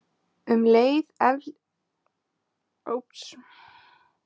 Um leið efldist stétt kaupmanna í borgum og hvers kyns iðnaður efldist ört.